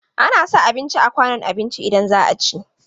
Ana sa abinci a kwanon abinci idan za a ci.